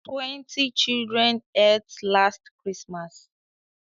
Twenty children ate last Christmas